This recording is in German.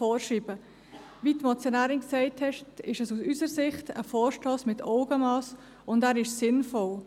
Wie die Motionärin gesagt hat, ist es aus unserer Sicht ein Vorstoss mit Augenmass, und er ist sinnvoll.